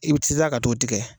I bɛ ka t'o tigɛ